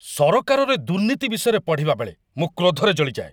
ସରକାରରେ ଦୁର୍ନୀତି ବିଷୟରେ ପଢ଼ିବା ବେଳେ ମୁଁ କ୍ରୋଧରେ ଜଳିଯାଏ।